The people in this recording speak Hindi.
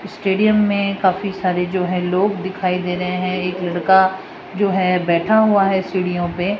स्टेडियम में काफी सारे जो हैं लोग दिखाई दे रहे हैं एक लड़का जो है बैठा हुआ है सीढ़ियों पे।